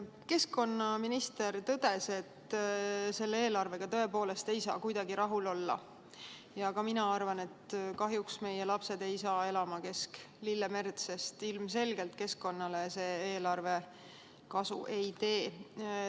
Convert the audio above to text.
Keskkonnaminister tõdes, et selle eelarvega tõepoolest ei saa kuidagi rahul olla, ja ka mina arvan, et kahjuks ei hakka meie lapsed elama kesk lillemerd, sest ilmselgelt see eelarve keskkonnale kasu ei tee.